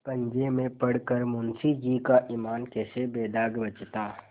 पंजे में पड़ कर मुंशीजी का ईमान कैसे बेदाग बचता